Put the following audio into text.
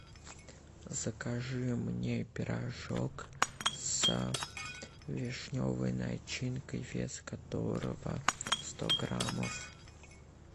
закажи мне пирожок с вишневой начинкой вес которого сто граммов